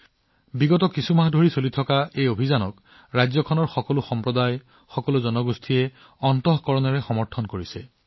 যোৱা কেইমাহমানত পৰ্বতৰ পৰা সমভূমিলৈ এটা সম্প্ৰদায়ৰ সম্প্ৰদায়ৰ পৰা আনটো সম্প্ৰদায়লৈকে মানুহে ইয়াক ৰাজ্যখনৰ সকলো ঠাইতে মুকলি মনেৰে গ্ৰহণ কৰিছে